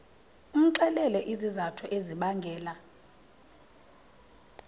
umxelele izizathu ezibangela